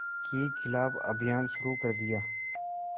के ख़िलाफ़ अभियान शुरू कर दिया